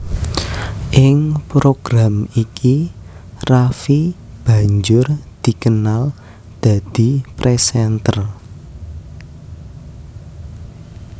Ing program iki Raffi banjur dikenal dadi presenter